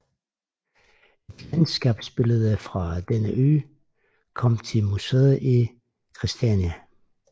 Et landskabsbillede fra denne ø kom til museet i Christiania